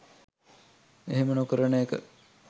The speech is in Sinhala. එහෙම නොකරන එක